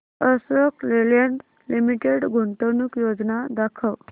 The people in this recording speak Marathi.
अशोक लेलँड लिमिटेड गुंतवणूक योजना दाखव